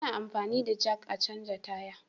Ana anfani da jak a canja tire